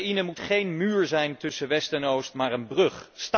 Oekraïne moet geen muur zijn tussen oost en west, maar een brug.